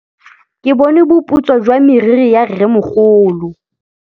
Ke bone boputswa jwa meriri ya rrêmogolo.